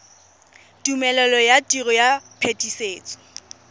tumelelo ya tiro ya phetisetso